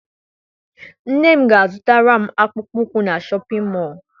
Nne m ga a zụtara m akpụkpọ ụkwụ na Shọpịn mọọ.